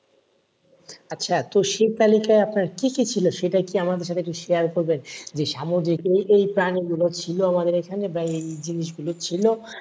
আচ্ছা তো সেই তালিকায় আপনার কি কি ছিল সেটা কি আমাদের সাথে একটু share করবেন যে সামুদ্রিক এই এই প্রাণীগুলো ছিল আমাদের এখানে বা এই এই জিনিসগুলো ছিল